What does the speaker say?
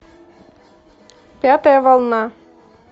пятая волна